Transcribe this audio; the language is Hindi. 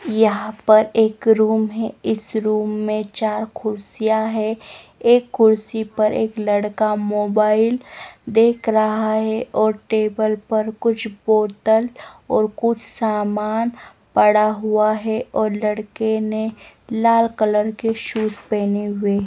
यहां पर एक रूम है इस रूम में चार कुर्सियां हैं एक कुर्सी पर एक लड़का मोबाइल देख रहा है और टेबल पर कुछ बोतल और कुछ सामान पड़ा हुआ है और लड़के ने लाल कलर के शूज पहने हुए हैं।